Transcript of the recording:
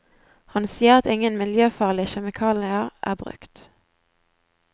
Han sier at ingen miljøfarlige kjemikalier er brukt.